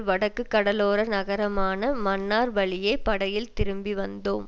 வடக்கு கடலோர நகரமான மன்னார் வழியே படகில் திரும்பி வந்தோம்